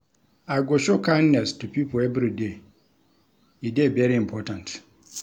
I go show kindness to pipo everyday, e dey very important.